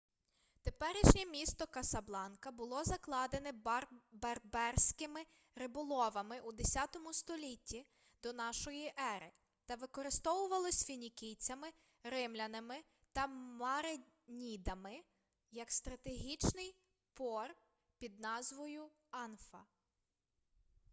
теперішнє місто касабланка було закладене берберськими риболовами у 10 столітті до н.е. та використовувалось фінікійцями римлянами та маринідами як стратегічний пор тпід назвою анфа